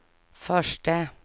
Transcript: förste